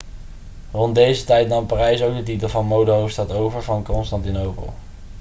rond deze tijd nam parijs ook de titel van modehoofdstad over van constantinopel